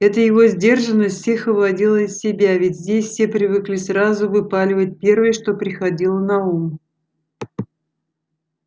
эта его сдержанность всех выводила из себя ведь здесь все привыкли сразу выпаливать первое что приходило на ум